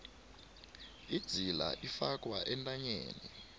idzila ifakwa entanyeni